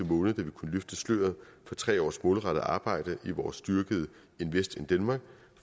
måned da vi kunne løfte sløret for tre års målrettet arbejde i vores styrkede invest in denmark